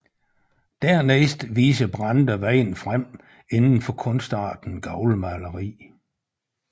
Dernæst viser Brande vejen frem indenfor kunstarten gavlmaleri